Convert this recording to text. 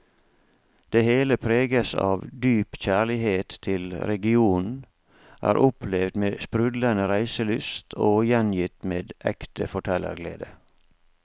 Det hele preges av dyp kjærlighet til regionen, er opplevd med sprudlende reiselyst og gjengitt med ekte fortellerglede.